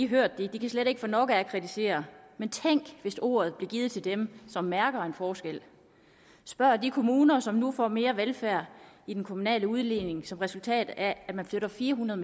hørt det slet ikke få nok af at kritisere men tænk hvis ordet blev givet til dem som mærker en forskel spørg de kommuner som nu får mere til velfærd i den kommunale udligning som resultat af at vi flytter fire hundrede